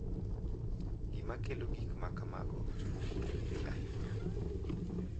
Gima kelo gik ma kamago ok ong’ere ahinya.